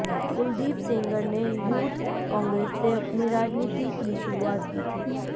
कुलदीप सेंगर ने यूथ कांग्रेस से अपनी राजनीति की शुरूआत की थी